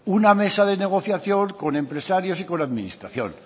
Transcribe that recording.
una mesa de negociación con empresarios y con administración